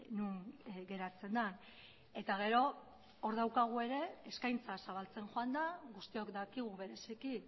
non geratzen den eta gero hor daukagu ere eskaintza zabaltzen joan da guztiok dakigu bereziki